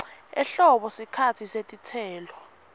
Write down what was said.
ehlobo sikhatsi setitselo